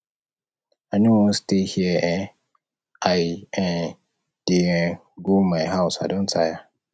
i no wan stay here um i um dey um go my house i don tire